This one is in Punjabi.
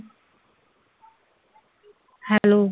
ਹੈਲੋ